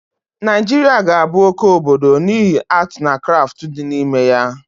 Naịjiria ga abụ oke obodo n'ihi atii na krafti dịd na ime ya